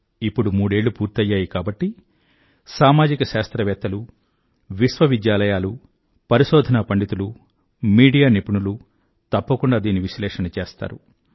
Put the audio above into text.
ఇప్పుడు మూడేళ్ళు పూర్తయ్యాయి కాబట్టి సామాజిక శాస్త్రవేత్తలూ విశ్వవిద్యాలయాలూ పరిశోధనా పండితులు మీడియా నిపుణులూ తప్పకుండా దీని విశ్లేషణ చేస్తారు